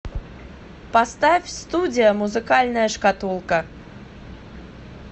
поставь студия музыкальная шкатулка